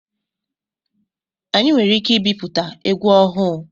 Anyị nwere ike ibipụta egwu ọhụụ.